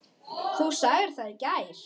Þú sagðir það í gær.